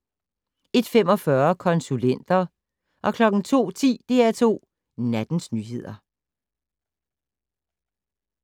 01:45: Konsulenter 02:10: DR2 Nattens nyheder